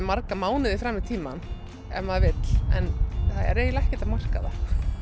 marga mánuði fram í tímann ef maður vill en það er eiginlega ekkert að marka það